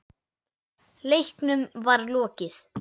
Leiknum var lokið.